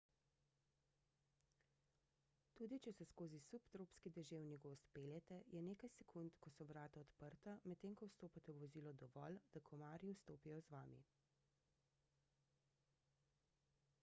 tudi če se skozi subtropski deževni gozd peljete je nekaj sekund ko so vrata odprta medtem ko vstopate v vozilo dovolj da komarji vstopijo z vami